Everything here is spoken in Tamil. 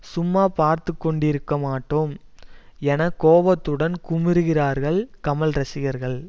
சும்மா பார்த்து கொண்டிருக்க மாட்டோம் என கோபத்துடன் குமுறுகிறார்கள் கமல் ரசிகர்கள்